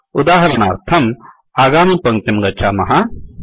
उदाहरणार्थं आगामि पङ्क्तिं गच्छामः